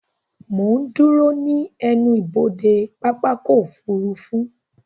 Mo ń dúró ní ẹnubodè pápákọ̀ ọkọ̀ òfurufú